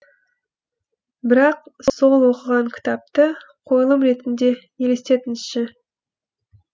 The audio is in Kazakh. бірақ сол оқыған кітапты қойылым ретінде елестетіңізші